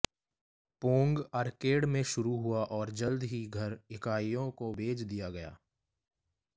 Pong arcade में शुरू हुआ और जल्द ही घर इकाइयों को भेज दिया गया